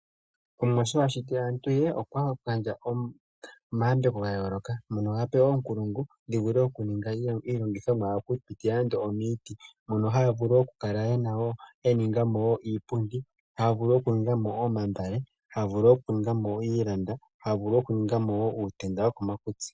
Omuwa sho ashiti aantu ye, okwa gandja omayambeko ga yooloka mono ape oonkulungu ndhi vule okuninga iilongithomwa okupitila nande omiiti mono haya vulu oku ninga mo iipundi, haya vulu okuninga mo omambale, haya vulu oku ninga mo iilanda, haya vulu okuninga mo uutenda wokomakutsi.